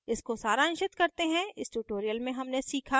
इसको सारांशित करते हैं इस tutorial में हमने सीखा